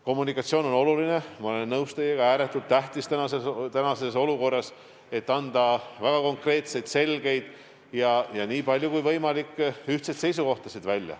Kommunikatsioon on oluline, ma olen teiega nõus, ja eriti praeguses olukorras on ääretult tähtis anda väga konkreetseid, selgeid ja – nii palju kui võimalik – ühtseid seisukohti.